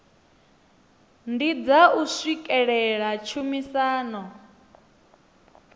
ndi dza u swikelela tshumisano